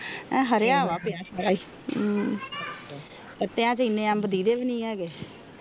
ਹਾਰਿਆ ਵ ਪਿਆ ਕੱਚੇ ਆ ਅਬ ਦੇਦੇ ਵੀ ਨਹੀਂ ਹੈਗੀ